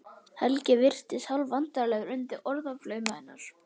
Helgi virðist hálfvandræðalegur undir orðaflaumi hennar.